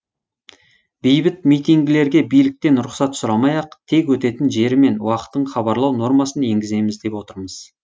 бейбіт митингілерге биліктен рұқсат сұрамай ақ тек өтетін жері мен уақытын хабарлау нормасын енгіземіз деп отырмыз